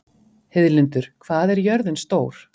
Heiðlindur, hvað er jörðin stór?